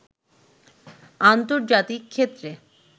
আন্তর্জাতীক ক্ষেত্রে